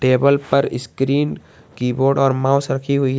Table पर screen keyboard और mouse रखी हुई है।